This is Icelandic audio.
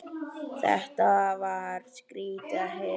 Þetta var skrýtið að heyra.